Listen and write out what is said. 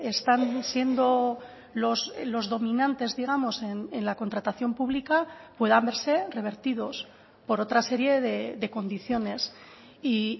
están siendo los dominantes digamos en la contratación pública puedan verse revertidos por otra serie de condiciones y